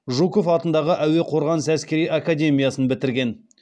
жуков атындағы әуе қорғанысы әскери академиясын бітірген